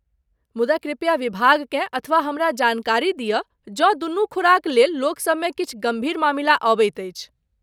मुदा कृपया विभागकेँ अथवा हमरा जानकारी दियऽ जँ दुनू खुराक लेल लोकसभमे किछु गम्भीर मामिला अबैत अछि।